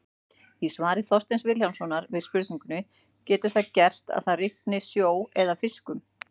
Í svari Þorsteins Vilhjálmssonar við spurningunni Getur það gerst að það rigni sjó eða fiskum?